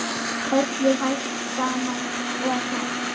Öllu hrært saman og kælt